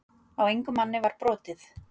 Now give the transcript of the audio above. Á engum manni var brotið